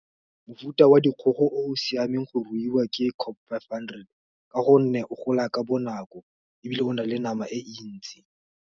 Mofuta wa dikgogo o o siameng go ruiwa ke cop five hundred, ka gonne o gola ka bonako ebile o na le nama e ntsi.